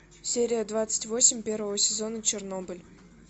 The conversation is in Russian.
серия двадцать восемь первого сезона чернобыль